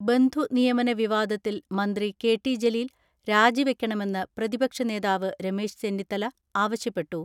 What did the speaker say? ബന്ധുനിയമന വിവാദത്തിൽ മന്ത്രി കെ.ടി ജലീൽ രാജിവെ ക്കണമെന്ന് പ്രതിപക്ഷനേതാവ് രമേശ് ചെന്നിത്തല ആവശ്യപ്പെ ട്ടു.